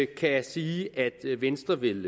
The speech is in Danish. kan sige at venstre vil